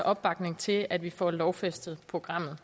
opbakning til at vi får lovfæstet programmet